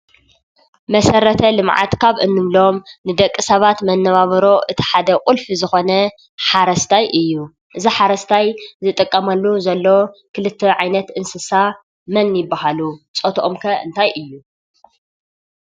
መሰረተ-ልምዓት ካብ እንብሎም ንደቂ ሰባት መናባብሮ እቲ ሓደ ቁልፊ ዝኾነ ሓረስታይ እዩ። እዚ ሓረስታይ ዝጥቀመሉ ዘሎ ክልተ ዓይነት እንስሳ መን ይበሃሉ ? ፆቶኦም ከ እንታይ እዩ?